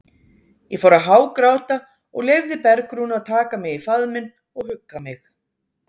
Ég fór að hágráta og leyfði Bergrúnu að taka mig í faðminn og hugga mig.